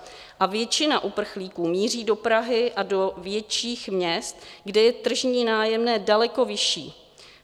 A většina uprchlíků míří do Prahy a do větších měst, kde je tržní nájemné daleko vyšší.